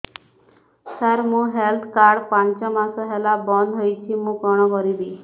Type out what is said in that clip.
ସାର ମୋର health card ପାଞ୍ଚ ମାସ ହେଲା ବଂଦ ହୋଇଛି ମୁଁ କଣ କରିବି